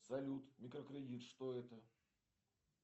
салют микрокредит что это